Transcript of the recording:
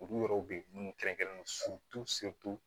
Olu yɔrɔw bɛ yen minnu kɛrɛnkɛrɛnnen